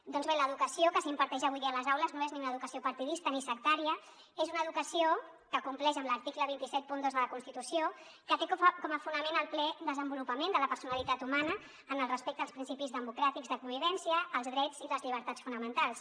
doncs bé l’educació que s’imparteix avui a les aules no és ni una educació par·tidista ni sectària és una educació que compleix amb l’article dos cents i setanta dos de la constitució que té com a fonament el ple desenvolupament de la personalitat humana en el res·pecte als principis democràtics de convivència als drets i les llibertats fonamentals